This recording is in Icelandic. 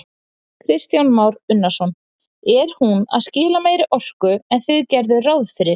Kristján Már Unnarsson: Er hún að skila meiri orku en þið gerðuð ráð fyrir?